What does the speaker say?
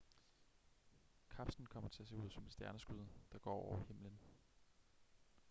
kapslen kommer til at se ud som et stjerneskud der går over himlen